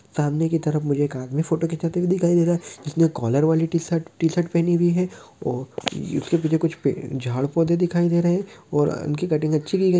सामने की तरफ मुझे एक आदमी फ़ोटो खिचावाते हुए दिख रहा है जिसने कॉलर वाली टीशर्ट टीशर्ट पहनी हुई है और उसके पीछे कुछ झाड़ पौधे दिखाई दे रहे हैं और उनकी कटिंग अच्छी की गई है।